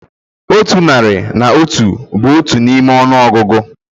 Otu nari na otu bụ otu n'ime ọnụọgụgụ